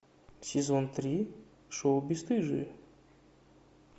сезон три шоу бесстыжие